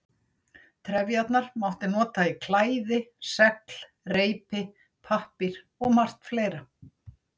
Trefjarnar mátti nota í klæði, segl, reipi, pappír og margt fleira.